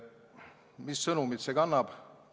Mis sõnumit see kannab?